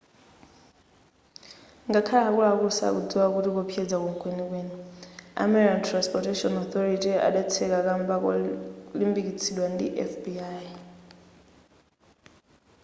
ngakhale akuluakulu sakudzikwa kuti kuwopsezako mkwenikweni a maryland transportation authority adatseka kamba kolimbikitsidwa ndi fbi